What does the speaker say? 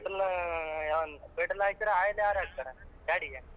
Petrol ಅಹ್ petrol ಹಾಕ್ಸಿದ್ರೆ oil ಯಾರ್ ಹಾಕ್ಸ್ತಾರ ಗಾಡಿಗೆ?